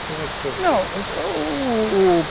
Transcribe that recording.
Como é que o senhor fez?